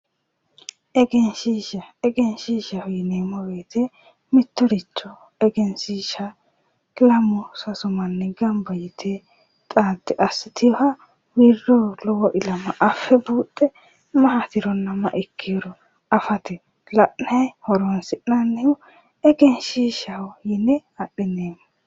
Egenshiishsha yineemmo woyte mittoricho egenshiishsha lamu sasu manni gamba yite assiteewoha lowo ilama affanno gede assinoonniha egenshiishsha yineemmo